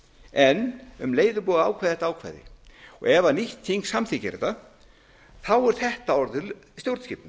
en um leið er búið að ákveða þetta ákvæði ef nýtt þing samþykkir þetta er þetta orðið stjórnskipun